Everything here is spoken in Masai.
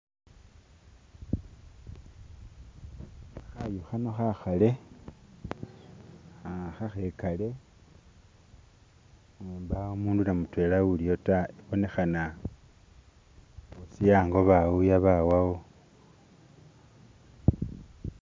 Khayu kano khakale akhigale mpawo umuntu wade mudwena uliwo da. Ibonekana bosi ango bawuya bawawo.